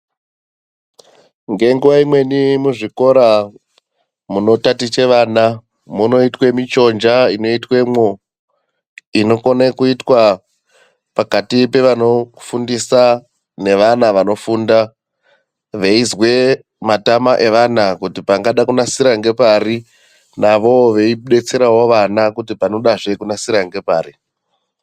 Ngenguwa imweni muzvikora munotatiche vana munoitwe michonja inoitwemo inokona kuitwa pakati pevanofundisa nevana vanofunda veizwe matama evana kuti pangada kunasira ngepari navowo veidetserawo vana kuti panodazve kunasira ngepari.